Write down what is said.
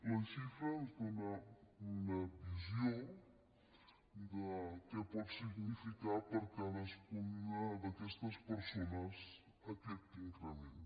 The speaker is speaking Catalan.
la xifra ens dóna una visió de què pot significar per a cadascuna d’aquestes persones aquest increment